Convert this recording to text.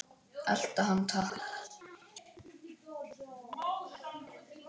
Elta hann takk!